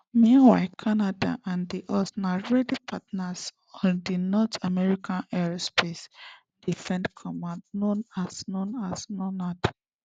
meanwhile canada and di us na already partners on di north american aerospace defense command known as known as norad